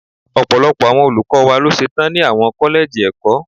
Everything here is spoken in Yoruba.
Ọ̀pọ̀lọpọ̀ àwọn olùkọ́ wa ló ṣe tán ni àwọn kọ́lẹ́jì ẹ̀kọ́.